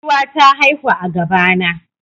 Giwa ta haihu a gaba na